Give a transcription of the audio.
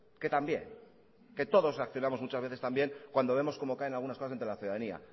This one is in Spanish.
que también que todos reaccionamos muchas veces también cuando vemos cómo caen algunas cosas ante la ciudadanía